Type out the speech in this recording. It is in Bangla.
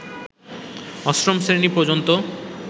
অষ্টম শ্রেণী পর্যন্ত